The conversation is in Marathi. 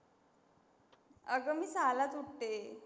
अगं मी सहाला च उठते.